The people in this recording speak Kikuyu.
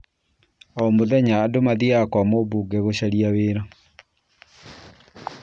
O mũthenya andũ mathiaga kwa mũmbunge gũcaria wĩra